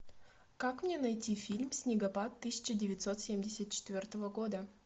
как мне найти фильм снегопад тысяча девятьсот семьдесят четвертого года